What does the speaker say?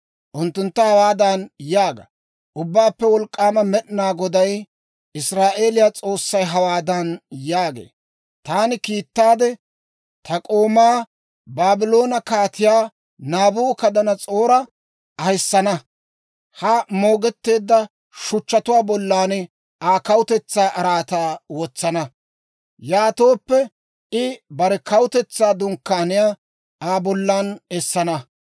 Unttuntta hawaadan yaaga; ‹Ubbaappe Wolk'k'aama Med'inaa Goday, Israa'eeliyaa S'oossay hawaadan yaagee; «Taani kiittaade, ta k'oomaa Baabloone Kaatiyaa Naabukadanas'oora ahissana; ha moogetteedda shuchchatuwaa bollan Aa kawutetsaa araataa wotsana. Yaatooppe I bare kawutetsaa dunkkaaniyaa Aa bollan essana.